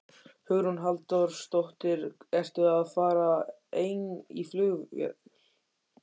Hugrún Halldórsdóttir: Ertu að fara ein í flugvél?